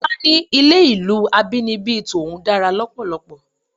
Tọ́lá ní ilé ìlú abínibí tòun dára lọ́pọ̀lọpọ̀.